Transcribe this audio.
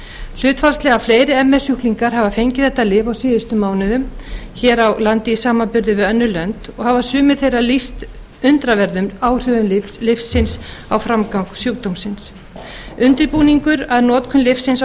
hlutfallslega fleiri ms sjúklingar hafa fengið þetta lyf á síðustu mánuðum hér á landi í samanburði við önnur lönd og hafa sumir þeirra lýst undraverðum áhrifum lyfsins á framgang sjúkdómsins undirbúningur að notkun lyfsins á